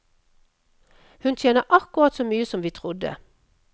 Hun tjener akkurat så mye som vi trodde.